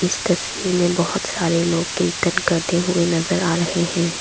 इस तस्वीर में बहोत सारे लोग कीर्तन करते हुए नजर आ रहे हैं।